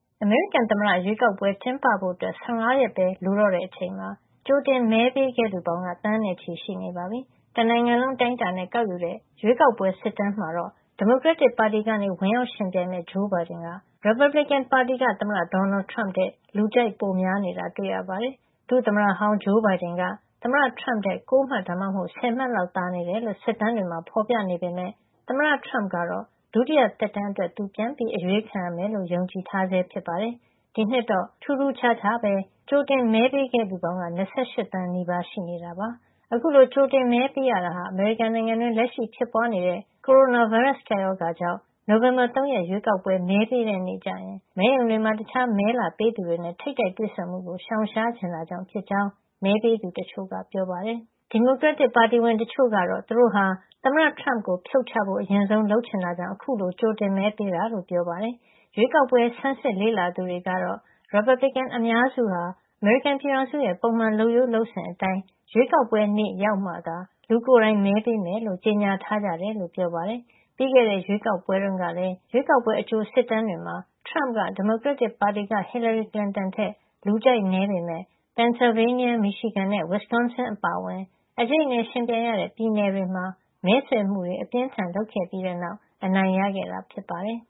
အမေရိကန်သမ္မတရွေးကောက်ပွဲ ကျင်းပဖို့ ၁၅ ရက်ပဲ လိုတော့ချိန်မှာ ကြိုတင်မဲပေးခဲ့သူပေါင်းက သန်းနဲ့ချီရှိနေပါပြီ။ တနိုင်ငံလုံး အတိုင်းအတာနဲ့ကောက်ယူတဲ့ ရွေးကောက်ပွဲစစ်တမ်း မှာတော့. ဒီမိုကရက်တစ်ပါတီကနေ ဝင်ရောက်ယှဉ်ပြိုင်မယ့် ဂျိုးဘိုင်ဒင်က ရီပတ်ဘလစ်ကင်ပါတီက သမ္မတဒေါ်နယ်ထရမ့်ထက် လူကြိုက်ပိုများနေတာ တွေ့ရပါတယ်။ ဒုသမ္မတဟောင်း ဂျိုးဘိုင်ဒင်က သမ္မတထရမ့်ထက် ၉ မှတ် ဒါမှမဟုတ် ၁၀ မှတ် လောက် သာနေတယ်လို့ စစ်တမ်းတွေမှာ ဖေါ်ပြနေပေမယ့် သမ္မတထရမ့်ကတော့ ဒုတိယသက်တမ်းအတွက် သူပြန် အရွေးခံရမယ်လို့ ယုံကြည်ထားဆဲ ဖြစ်ပါတယ်။ ဒီနှစ်တော့ ထူးထူးခြားခြားပဲ ကြိုတင်မဲပေးခဲ့သူပေါင်းက ၂၈ သန်း နီးပါးရှိနေတာပါ။ အခုလို ကြိုတင်မဲ ပေးရတာ အမေရိကန်နိုင်ငံတွင်း လက်ရှိဖြစ်ပွါးနေတဲ့ ကိုရိုနာဗိုင်းရပ်စ် ကပ်ရောဂါ ကြောင့် နိုဝင်ဘာလ ၃ ရက် ရွေးကောက်ပွဲမဲပေးတဲ့ နေ့ကျရင် မဲရုံတွေမှာ တခြားမဲလာပေးသူတွေနဲ့ ထိပ်တိုက်တွေ့ဆုံမှုကို ရှောင်ရှားချင်တာကြောင့် ဖြစ်ကြောင်း မဲပေးသူတချို့က ပြောပါတယ်။ တချိန်ထဲမှာပဲ ဒီမိုကရက်တစ် ပါတီဝင် တချို့က သူတို့ဟာ သမ္မတထရမ့်ကို ဖြုတ်ချဖို့ အရင်ဆုံး လုပ်ချင်တာကြောင့် အခုလို ကြိုတင်မဲပေးတာလို့ ပြောကြသလို ရွေးကောက်ပွဲ ဆန်းစစ်လေ့လာသူတွေကတော့ ရီပတ်ဘလစ်ကင် အများစုက အမေရိကန်ပြည်ထောင်စုရဲ့ ပုံမှန် လုပ်ရိုးလုပ်စဉ်အတိုင်း ရွေးကောက်ပွဲနေ့ ရောက်မှသာ လူကိုယ်တိုင် မဲပေးမယ်လို့ ကြေညာထားကြတယ်လို့ ပြောပါတယ်။ ပြီးခဲ့တဲ့ ရွေးကောက်ပွဲတုန်းကလည်း ရွေးကောက်ပွဲအကြိုစစ်တမ်းတွေမှာ ထရမ့်က ဒီမိုကရက်တစ်ပါတီက Hillary Clinton ထက် လူကြိုက်နည်းပေမယ့် Pennsylvania, Michigan နဲ့ Wisconsin အပါအဝင် အကြိတ်အနယ်ယှဉ်ပြိုင်ရတဲ့ ပြည်နယ်တွေမှာ မဲဆွယ်မှုတွေ အပြင်းအထန် လုပ်ခဲ့ပြီးတဲ့နောက် အနိုင်ရခဲ့တာ ဖြစ်ပါတယ်